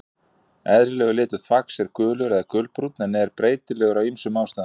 Eðlilegur litur þvags er gulur eða gulbrúnn en er breytilegur af ýmsum ástæðum.